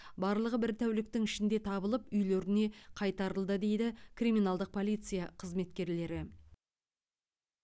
барлығы бір тәуліктің ішінде табылып үйлеріне қайтарылды дейді криминалдық полиция қызметкерлері